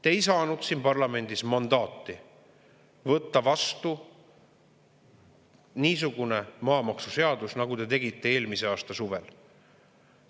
Te ei saanud siin parlamendis mandaati võtta vastu niisugune maamaksuseadus, nagu te tegite eelmise aasta suvel.